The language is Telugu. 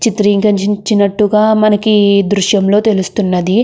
చిత్రీకరించినట్టుగా మనకి ఈదృశ్యం లో తెల్లుస్తుంది.